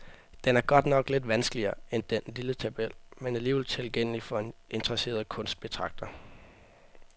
Den er godt nok lidt vanskeligere end den lille tabel, men alligevel tilgængelig for en interesseret kunstbetragter.